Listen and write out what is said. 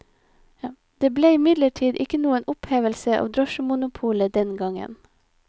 Det ble imidlertid ikke noen opphevelse av drosjemonopolet den gangen.